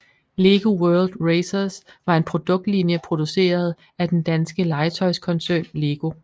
Lego World Racers var en produktlinje produceret af den danske legetøjskoncern LEGO